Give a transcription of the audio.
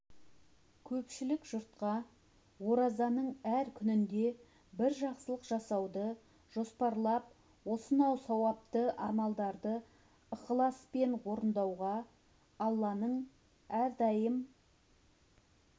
көпшілік жұртқа оразаның әр күнінде бір жақсылық жасауды жоспарлап осынау сауапты амалдарды ықыласпен орындауға алланың әрдайым